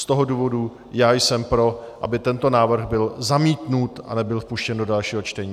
Z toho důvodu já jsem pro, aby tento návrh byl zamítnut a nebyl vpuštěn do dalšího čtení.